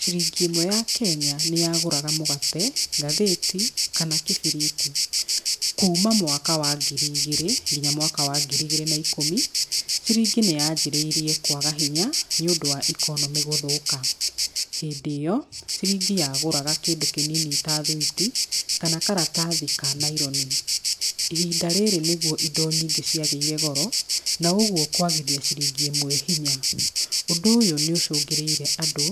ciringi ĩmwe ya Kenya nĩ yagũraga mũgate, ngathĩti kana kĩbiriti. Kuuma mwaka wa ngiri igĩrĩ nginya mwaka wa ngiri igĩrĩ na ikũmi, ciringi nĩ yanjĩrĩirie kwaga hinya nĩ ũndũ wa economy gũthũka. Hĩndĩ ĩyo ciringi yagũraga kĩndũ kĩnini ta thwiti kana karatathi ka nylon. Ihinda rĩrĩ nĩguo indo nyingĩ ciagĩire goro na ũguo kwagithia ciringi ĩmwe hinya. Ũndũ ũyũ nĩ ũcũngĩrĩire andũ